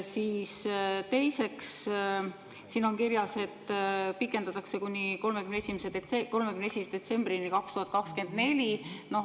Teiseks, siin on kirjas, et pikendatakse kuni 31. detsembrini 2024.